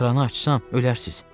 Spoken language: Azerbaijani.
Kranı açsam ölərsiz.